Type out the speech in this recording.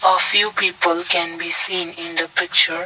a few people can be seen in the picture.